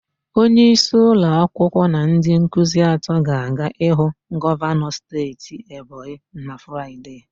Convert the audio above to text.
Onyeisi ụlọakwụkwọ na ndị nkuzi atọ ga-aga ịhụ gọvanọ steeti Ebonyi na Fraịde.